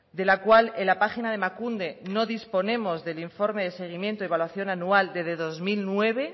de la cual en la página de emakunde no disponemos del informe de seguimiento y evaluación anual desde dos mil nueve